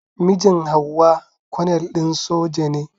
Mijin Hauwa konel din soja ne.